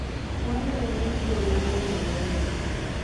walo e nyim gol emomiyo warem